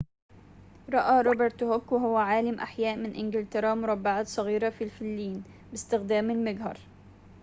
رأى روبرت هوك وهو عالمُ أحياء من إنجلترا مربعاتٍ صغيرةٍ في الفلين باستخدام المجهر